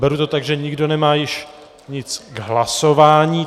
Beru to tak, že nikdo nemá již nic k hlasování.